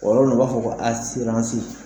O yɔrɔ ninnu na u b'a fɔ ko asiransi.